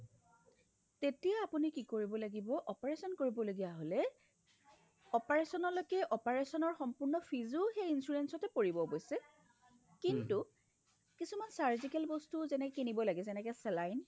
তেতিয়া আপুনি কি কৰিব লাগিব operation কৰিব লগীয়া হ'লে operation লৈকে operationৰ সম্পূৰ্ণ feesও সেই insurance তয়ে পৰিব কিন্তু কিছুমান surgical বস্তু যেনে কিনিব লাগে যেনেকে saline